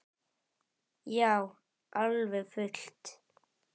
Já, alveg fullt.